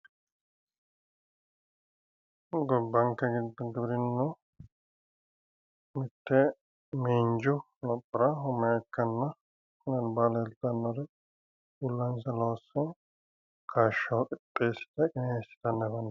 gobbanke giddo giwirinnu mitte miinju lophora umo ikkanna kuri albaa leetannori uullansa loosse kaashsho qixxeessite leeltannoreeti